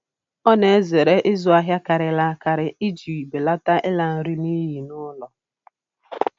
Ọ na-ezere ịzụ ahịa karịrị akarị iji belata ịla nri n'iyi n'ụlọ